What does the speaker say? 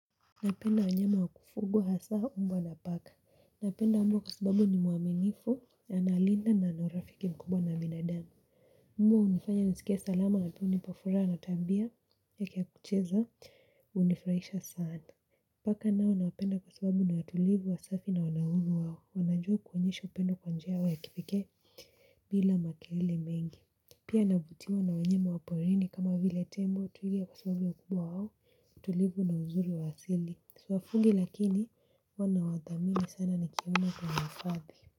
Napenda wanyama wakufugwa hasa mbwa na paka. Napenda mbwa kwa sababu ni mwaminifu na analinda na anaurafiki mkubwa na binadamu. Mbwa unifanya nisikie salama na pia unipa furaha na tabia yake ya kucheza unifuraisha sana. Paka nao nawapenda kwa sababu ni watulivu wa safi na wanauhuru wao. Wanajua kuonyesha upendo kwa njia yao ya kipekee bila makelele mengi. Pia navutiwa na wanyama wa porini kama vile tembo twiga kwa sababu ya kuwa wao. Tulivu na uzuri wa asili siwafugi lakini huwa nawadhamini sana nikiona kwenye hifadhi.